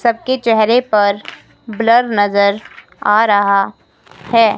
सबके चेहरे पर ब्लर नजर आ रहा है।